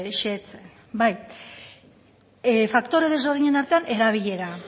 zehetzen faktore desberdinen artean erabilera